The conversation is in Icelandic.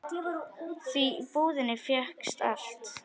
Því í búðinni fékkst allt.